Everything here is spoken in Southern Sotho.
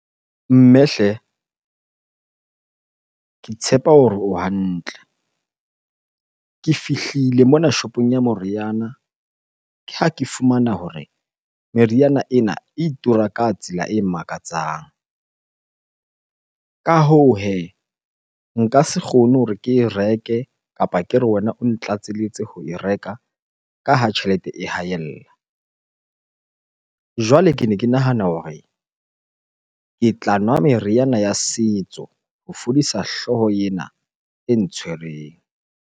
Mme hle, ke tshepa hore o hantle. Ke fihlile mona shopong ya meriana, ke ha ke fumana hore meriana ena e tura ka tsela e makatsang. Ka hoo hee, nka se kgone hore ke e reke kapa ke re wena o ntlatselletse ho e reka ka ha tjhelete e haella. Jwale kene ke nahana hore ke tla nwa meriana ya setso ho fodisa hlooho ena e ntshwereng.